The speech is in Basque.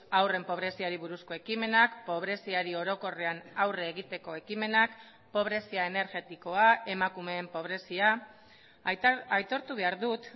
haurren pobreziari buruzko ekimenak pobreziari orokorrean aurre egiteko ekimenak pobrezia energetikoa emakumeen pobrezia aitortu behar dut